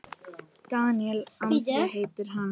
Daníel Andri heitir hann.